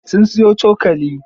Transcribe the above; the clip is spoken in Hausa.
Sun siyo cokali.